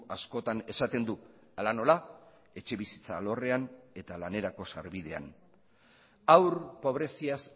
askotan esaten du hala nola etxebizitza alorrean eta lanerako sarbidean haur pobreziaz